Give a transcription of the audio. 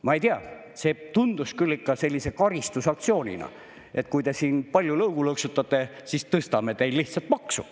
Ma ei tea, see tundus küll ikka sellise karistusaktsioonina: kui te siin palju lõugu lõksutate, siis tõstame teil lihtsalt maksu.